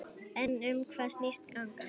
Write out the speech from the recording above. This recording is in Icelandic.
En um hvað snýst gangan?